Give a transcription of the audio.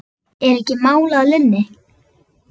Er ekki mál að linni?